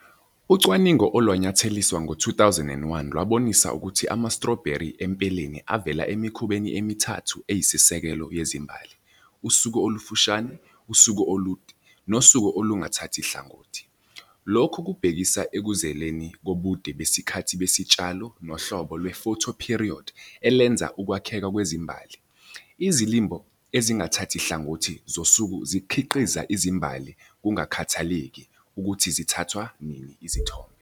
Ucwaningo olwanyatheliswa ngo-2001 lwabonisa ukuthi ama-strawberry empeleni avela emikhubeni emithathu eyisisekelo yezimbali- usuku olufushane, usuku olude, nosuku olungathathi hlangothi. Lokhu kubhekisa ekuzweleni kobude besikhathi besitshalo nohlobo lwe-photoperiod elenza ukwakheka kwezimbali. Izilimo ezingathathi hlangothi zosuku zikhiqiza izimbali kungakhathalekile ukuthi zithathwa nini izithombe.